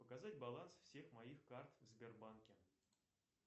показать баланс всех моих карт в сбербанке